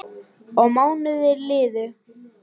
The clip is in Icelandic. Og mánuðir liðu.